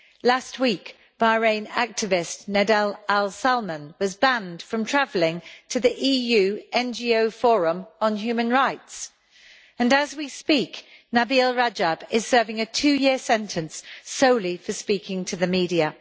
Last week, Bahrain activist Nedal Al Salman was banned from travelling to the EU NGO Forum on human rights, and as we speak, Nabeel Rajab is serving a two year sentence solely for speaking to the media.